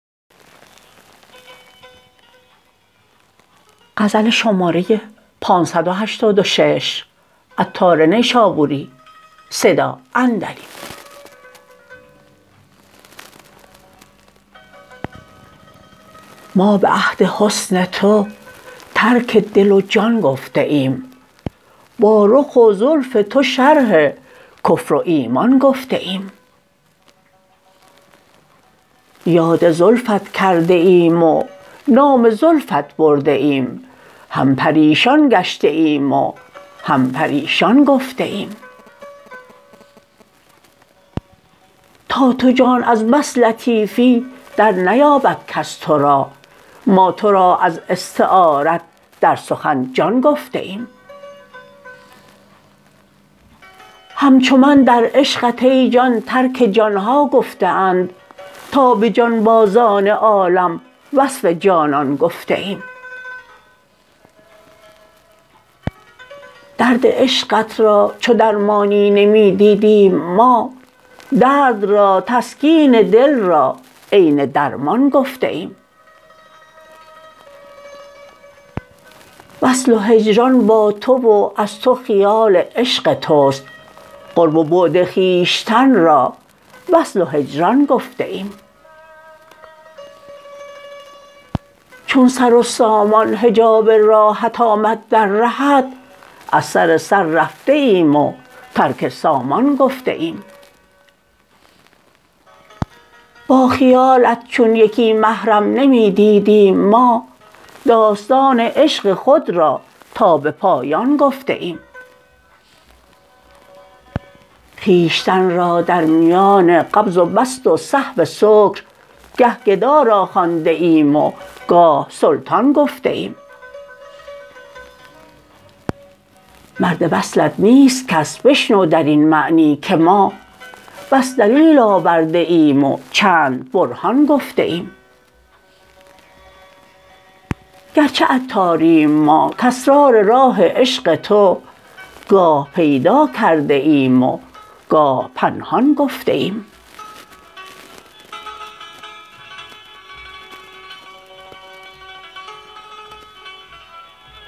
ما به عهد حسن تو ترک دل و جان گفته ایم با رخ و زلف تو شرح کفر و ایمان گفته ایم یاد زلفت کرده ایم و نام زلفت برده ایم هم پریشان گشته ایم و هم پریشان گفته ایم تا تو جان از بس لطیفی در نیابد کس تو را ما تو را از استعارت در سخن جان گفته ایم همچو من در عشقت ای جان ترک جان ها گفته اند تا به جانبازان عالم وصف جانان گفته ایم درد عشقت را چو درمانی نمی دیدیم ما درد را تسکین دل را عین درمان گفته ایم وصل و هجران با تو و از تو خیال عشق توست قرب و بعد خویشتن را وصل و هجران گفته ایم چون سر و سامان حجاب راهت آمد در رهت از سر سر رفته ایم و ترک سامان گفته ایم با خیالت چون یکی محرم نمی دیدیم ما داستان عشق خود را تا به پایان گفته ایم خویشتن را در میان قبض و بسط و صحو سکر گه گدا را خوانده ایم و گاه سلطان گفته ایم مرد وصلت نیست کس بشنو درین معنی که ما بس دلیل آورده ایم و چند برهان گفته ایم گرچه عطاریم ما کاسرار راه عشق تو گاه پیدا کرده ایم و گاه پنهان گفته ایم